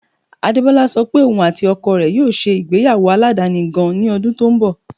Adebọla sọ pé ọún àti oko rẹ̀ yóò ṣé igbeyawo aládani gan-an ní odun tó n bọ̀.